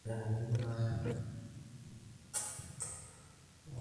taasishore ntokitin naarip enkulupuoni(aitoip ndaiki)tenkatace El nino